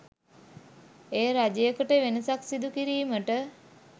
එය රජයකට වෙනසක් සිදු කිරීමට